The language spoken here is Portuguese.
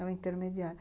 É o intermediário.